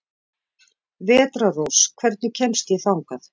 Vetrarrós, hvernig kemst ég þangað?